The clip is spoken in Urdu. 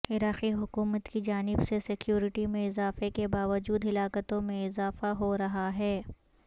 عراقی حکومت کی جانب سے سکیورٹی میں اضافے کے باوجود ہلاکتوں میں اضافہ ہورہا ہے